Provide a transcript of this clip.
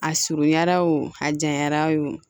A surunyanra o a janyara o